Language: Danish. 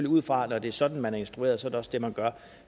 ud fra at når det er sådan man er instrueret er det også det man gør